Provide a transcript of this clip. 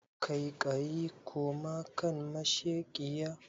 Kaiƙayi koma kan masheƙiya